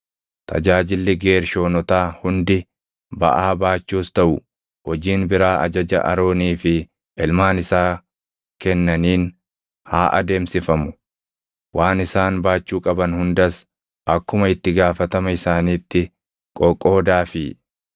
Tajaajilli Geershoonotaa hundi baʼaa baachuus taʼu hojiin biraa ajaja Aroonii fi ilmaan isaa kennaniin haa adeemsifamu. Waan isaan baachuu qaban hundas akkuma itti gaafatama isaaniitti qoqoodaafii.